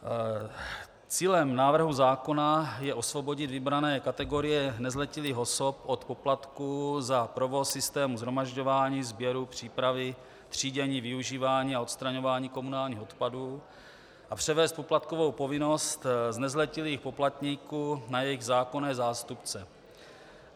Cílem návrhu zákona je osvobodit vybrané kategorie nezletilých osob od poplatků za provoz systému shromažďování, sběru, přípravy, třídění, využívání a odstraňování komunálních odpadů a převést poplatkovou povinnost z nezletilých poplatníků na jejich zákonné zástupce.